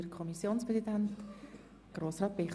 Kommissionspräsident der FiKo.